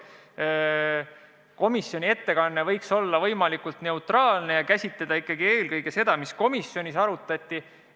Komisjoni ettekanne võiks olla võimalikult neutraalne ja käsitleda eelkõige seda, mida komisjonis arutati.